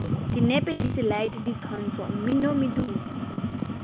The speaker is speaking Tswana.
dinepe diselaete ditshwantsho mmino medumo